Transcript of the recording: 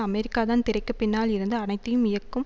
அமெரிக்காதான் திரைக்கு பின்னால் இருந்து அனைத்தையும் இயக்கும்